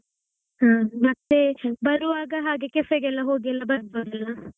ಹಾ ಮತ್ತೆ ಬರುವಾಗ ಹಾಗೆ cafe ಗೆಲ್ಲಾ ಹೋಗಿ ಎಲ್ಲಾ ಬರ್ಬೋದಲ್ಲಾ?